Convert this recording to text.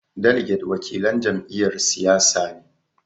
Daliget wakilan jam'iyyar siyasa ne.